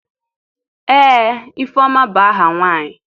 ee Ifeoma bu aha nwanyi